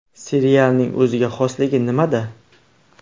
Serialning o‘ziga xosligi nimada?